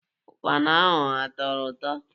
Ukpana ahụ atọrọ ụtọ?